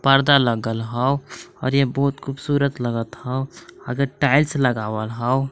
परदा लगल हव और इहां बहोत खुबसुरत लगत हव आगे टाइल्स लगावल हव।